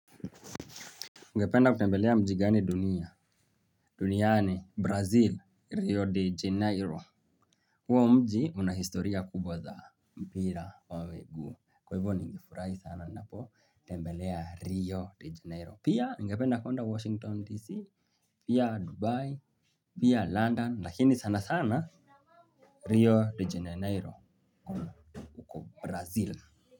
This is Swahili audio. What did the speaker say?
Ngependa kutembelea mji gani dunia? Duniani Brazil, Rio de Janeiro. Huo mji una historia kubwa za mpira wa miguu. Kwa hivyo ningefurahi sana napo, tembelea Rio de Janeiro. Pia ningependa kwenda Washington, D.C. Pia Dubai, pia London, lakini sana sana Reo de Janeiro huko Brazil.